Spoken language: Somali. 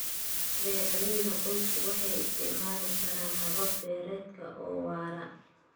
Beeralayda qoysku waxay isticmaali karaan habab beereedka oo waara.